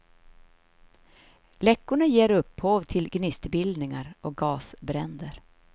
Läckorna ger upphov till gnistbildningar och gasbränder.